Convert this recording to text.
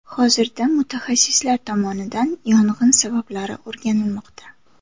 Hozirda mutaxassislar tomonidan yong‘in sabablari o‘rganilmoqda.